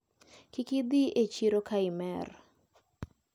Kik idhi e chiro kaimer.